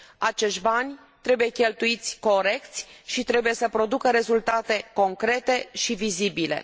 Acești bani trebuie cheltuiți corect și trebuie să producă rezultate concrete și vizibile.